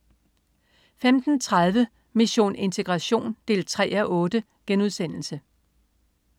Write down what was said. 15.30 Mission integration 3:8*